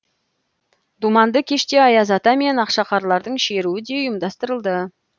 думанды кеште аяз ата мен ақшақарлардың шеруі де ұйымдастырылды